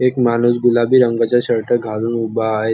एक माणूस गुलाबी रंगाचा शर्ट घालून उभा आहे.